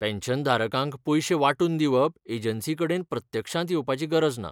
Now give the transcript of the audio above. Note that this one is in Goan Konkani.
पॅन्शनधारकांक पयशें वांटून दिवप एजंसीकडेन प्रत्यक्षांत येवपाची गरज ना.